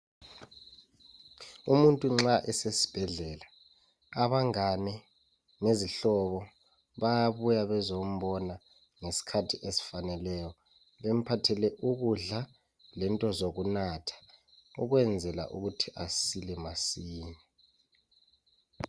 Umuntu nxa esesibhedlela abangane bezihlobo bayabuya bezombona ngesikhathi esifaneleyo bemphathele ukudla lento zokunatha ukwenzela ukuthi asile masinya.